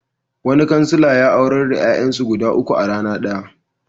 Wani kansila ya aurar da ƴaƴansu guda uku a rana ɗaya.